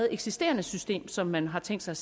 eksisterende system som man har tænkt sig